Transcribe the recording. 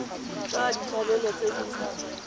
ka ga ditshwanelo tse di